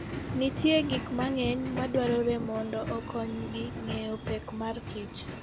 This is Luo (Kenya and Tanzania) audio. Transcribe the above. Nitie gik mang'eny madwarore mondo okonygi ng'eyo pek mar kich.